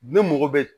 Ne mɔgɔ bɛ